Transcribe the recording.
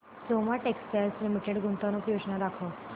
Soma textile limited गुंतवणूक योजना दाखव